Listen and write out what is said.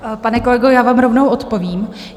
Pane kolego, já vám rovnou odpovím.